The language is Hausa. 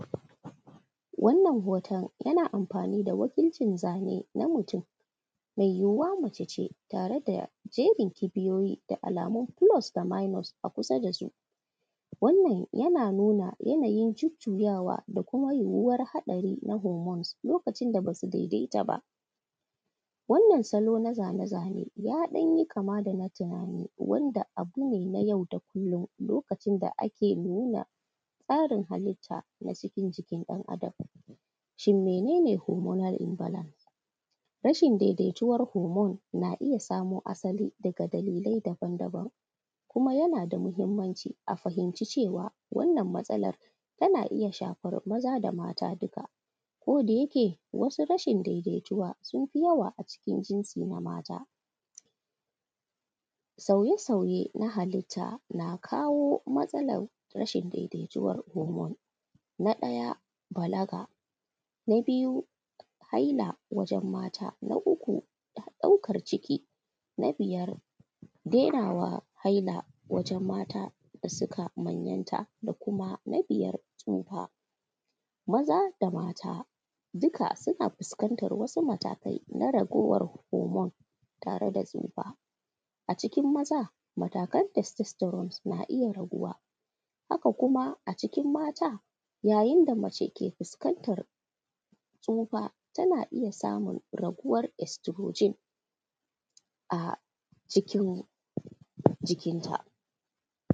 Wannan hoto yana amfanin da wakilcin zane na mutum mai yiwuwa mace ce tare da jerin kibiyoyi da alamun plus da minus a kusa da su, wannan yana nuna yanayin jujuyawa da kuma yiwuwar haɗari na hormones lokacin da ba su daidaita ba, wannan salon a zane-zane ya ɗan yi kama da na tunani wanda abu ne na yau da kullum lokacin da ake nuna tsarin halita na cikin jikin ɗan’Adam. Shin mene ne hormonal in balance? Rashin daidaituwar hormone na iya samo asali daga dalilai daban-daban kuma yana da muhimmanci a fahimci cewa wannan matsalar tana iya shafar maza da mata duka kodayake wasu rashin daidaituwa sun fi yawa a cikin jinsi na mata, sauya-sauye na halita na kawo matsalar rashin daidaituwar hormone na ɗaya balaga, na biyu haila wajen mata, na uku ɗaukar ciki, na biyar denawa haila wajen mata da suka manyanta da kuma mabiya tsufa maza da mata, duka suna fuskantar wasu matakai na raguwar hormone tare da tsufa. A cikin maza matakan testestoron na iya raguwa haka kuma a jikin mata yayin da mace ke fuskantar tsufa tana iya samun raguwar oestrogen a cikin jikinta.